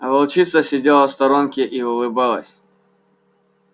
а волчица сидела в сторонке и улыбалась